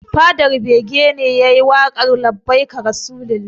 Fadar bege ne yayi waƙar 'labbaika rasulalla'